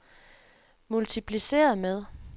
multipliceret med